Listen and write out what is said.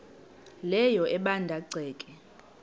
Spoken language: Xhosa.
leyo ebanda ceke